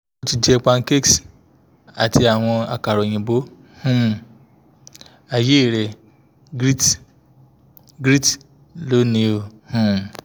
o ti jẹ pancakes ati awọn akara oyinbo um ayerẹ grits grits loni um